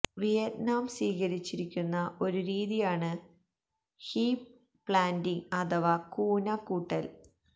Vietnam സ്വീകരിച്ചിരിക്കുന്ന ഒരു രീതിയാണ് ഹീപ്പ് പ്ലാന്റിംഗ് അഥവാ കൂന കൂട്ടല്